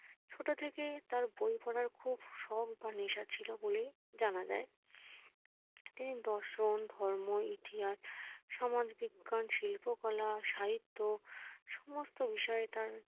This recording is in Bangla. ছোট থেকে তার বই পড়ার খুব শখ বা নেশা ছিলো বইয়ের জানা যায় তিনি দর্শন, ধর্ম, ইতিহাস, সমাজবিজ্ঞান, শিল্পকলা, সাহিত্য সমস্ত বিষয়ে তার